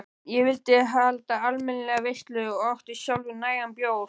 Ég vildi halda almennilega veislu og átti sjálfur nægan bjór.